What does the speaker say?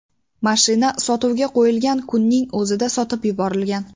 Mashina sotuvga qo‘yilgan kunning o‘zida sotib yuborilgan.